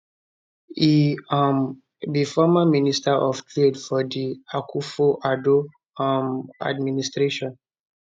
e um be former minister of trade for di akufo addo um administration